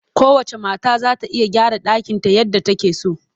Kowacce mata za ta iya gyara ɗakinta yadda take so